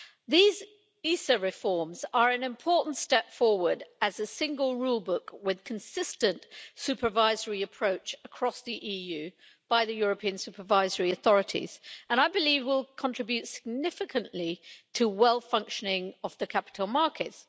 These European supervisory authorities reforms are an important step forward as a Single Rulebook with a consistent supervisory approach across the EU by the European supervisory authorities, and will, I believe, contribute significantly to well functioning of the capital markets.